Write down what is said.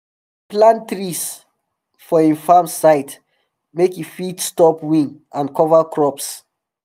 him plant trees for him farm side make e fit stop wind and cover crops